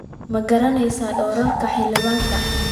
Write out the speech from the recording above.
Ma garanaysaa doorarka xildhibaanka?